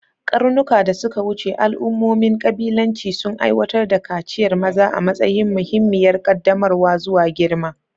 Ƙarnuka da suka wuce, al'ummomin ƙabilanci sun aiwatar da kaciyar maza a matsayin muhimmiyar ƙaddamarwa zuwa girma.